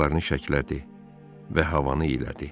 Qulaqlarını şəkillədi və havanı elədi.